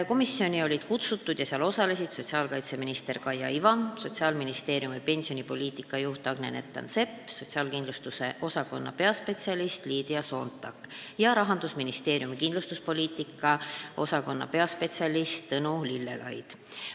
Komisjoni olid kutsutud ka sotsiaalkaitseminister Kaia Iva, Sotsiaalministeeriumi pensionipoliitika juht Agne Nettan-Sepp, sotsiaalkindlustuse osakonna peaspetsialist Liidia Soontak ja Rahandusministeeriumi kindlustuspoliitika osakonna peaspetsialist Tõnu Lillelaid.